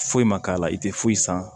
Foyi ma k'a la i tɛ foyi san